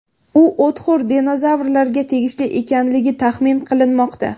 U o‘txo‘r dinozavrlarga tegishli ekanligi taxmin qilinmoqda.